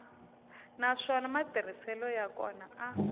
naswona matirhiselo ya kona a